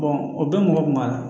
o bɛɛ mɔgɔ kun b'a la